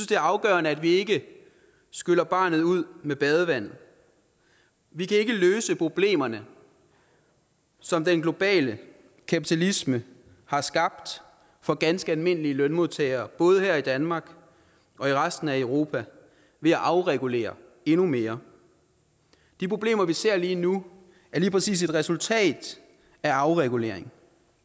det er afgørende at vi ikke skyller barnet ud med badevandet vi kan ikke løse problemerne som den globale kapitalisme har skabt for ganske almindelige lønmodtagere både her i danmark og i resten af europa ved at afregulere endnu mere de problemer vi ser lige nu er lige præcis et resultat af afregulering